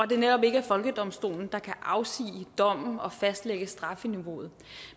det netop ikke er folkedomstolen der kan afsige dommen og fastlægge strafniveauet